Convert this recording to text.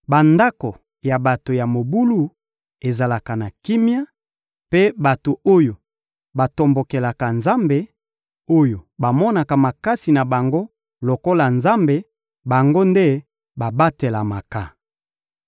Bandako ya bato ya mobulu ezalaka na kimia, mpe bato oyo batombokelaka Nzambe, oyo bamonaka makasi na bango lokola Nzambe, bango nde babatelamaka.